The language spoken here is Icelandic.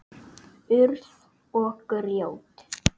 Urð og grjót.